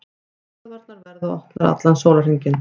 Stöðvarnar verða opnar allan sólarhringinn